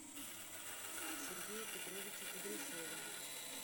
сергея петровича кудряшова